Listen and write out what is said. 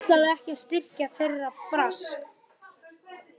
Hún ætlaði ekki að styrkja þeirra brask!